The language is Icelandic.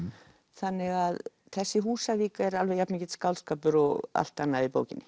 þannig að þessi Húsavík er alveg jafn mikill skáldskapur og allt annað í bókinni